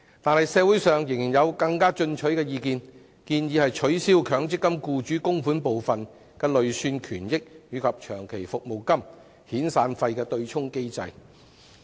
然而，社會上仍有更加進取的意見，建議取消強積金僱主供款部分的累算權益與長期服務金和遣散費對沖的機制。